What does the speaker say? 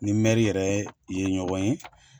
Ni mɛri yɛrɛ ye ɲɔgɔn ye.